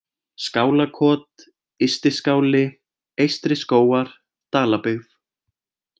Skálakot, Ysti-Skáli, Eystri-Skógar, Dalabyggð